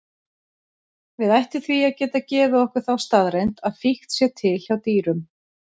Við ættum því að geta gefið okkur þá staðreynd að fíkn sé til hjá dýrum.